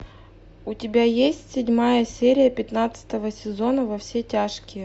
у тебя есть седьмая серия пятнадцатого сезона во все тяжкие